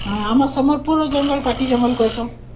ହଁ, ଆମ ସମ୍ବଲପୁରର ଜଙ୍ଗଲ ପାର୍ଟୀ ଜଙ୍ଗଲକୁ ଆସ